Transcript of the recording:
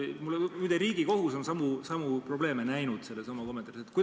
Muide, Riigikohus on samu probleeme näinud seda kommenteerides.